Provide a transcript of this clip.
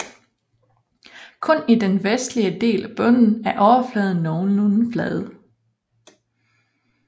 Kun i den vestlige del af bunden er overfladen nogenlunde flad